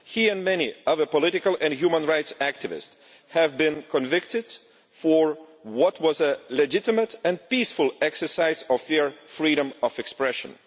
He and many other political and human rights activists have been convicted for what was a legitimate and peaceful exercise of their freedom of expression.